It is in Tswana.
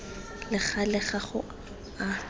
le gale ga go a